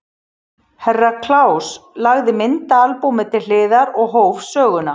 Herra Kláus lagði myndaalbúmið til hliðar og hóf söguna.